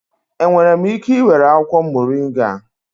Enwere m ike ị were akwụkwọ moringa?